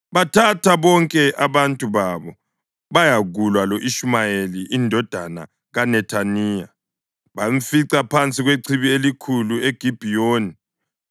bathatha bonke abantu babo bayakulwa lo-Ishumayeli indodana kaNethaniya. Bamfica phansi kwechibi elikhulu eGibhiyoni.